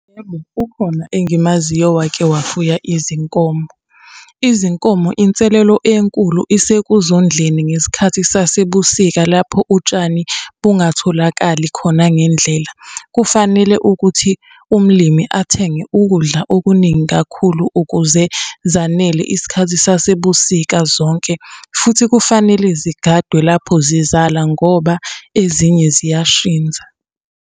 Yebo, ukhona engimaziyo owake wafuya izinkomo. Izinkomo inselelo enkulu esekuzondleni ngesikhathi sasebusika lapho utshani bungatholakali khona ngendlela. Kufanele ukuthi umlimi athenge ukudla okuningi kakhulu ukuze zanele isikhathi zasebusika zonke, futhi kufanele zigadwe lapho zizala, ngoba ezinye ziyashinza.